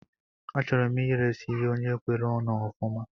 Achọrọ m iresi ya onye kwere onu ofuma